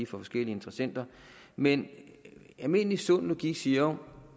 forskellige interessenter men almindelig sund logik siger